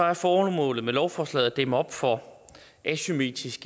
er formålet med lovforslaget at dæmme op for asymmetrisk